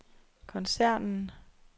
koncernen